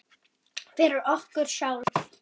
Fyrir okkur sjálf.